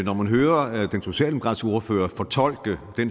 når man hører den socialdemokratiske ordfører fortolke det